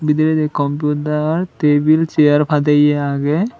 bidiredi compiutar tebil sear padeye agey.